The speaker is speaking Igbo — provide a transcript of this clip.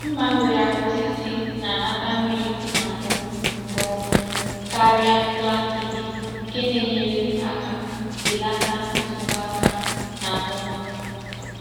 Mma nwere aka osisi na-anata mmiri si n'ahụ nke ọma karịa plastik, nke na-enyere aka belata nsogbu aka na-adọba.